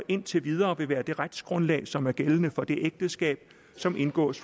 indtil videre vil være det retsgrundlag som er gældende for det ægteskab som indgås